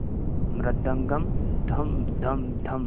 मृदंगम धम धम धम